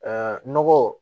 nɔgɔ